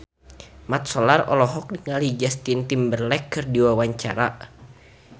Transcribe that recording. Mat Solar olohok ningali Justin Timberlake keur diwawancara